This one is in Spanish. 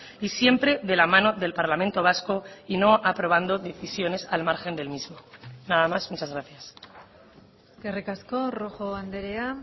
y siempre de la mano del parlamento vasco y no aprobando decisiones al margen del mismo nada más muchas gracias eskerrik asko rojo andrea